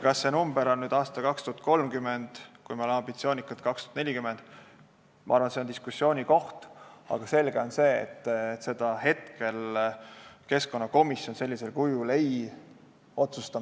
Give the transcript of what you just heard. Kas see aastanumber on 2030, kui me oleme ambitsioonikad, või 2040 – ma arvan, et see on diskussiooni koht, aga selge on see, et hetkel keskkonnakomisjon seda sellisel kujul ei otsusta.